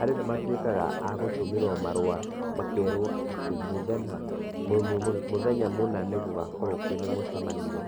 Andũ nĩ matuĩkaga agũtũmĩrwo marũa makerwo atĩ mũthenya mũthenya mũna nĩ gũgakorwo mũcemanio